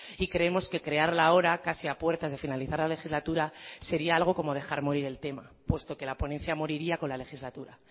y creemos que crearla ahora casi a puertas de finalizar la legislatura sería algo como dejar morir el tema puesto que la ponencia moriría con la legislatura